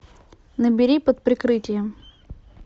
набери под прикрытием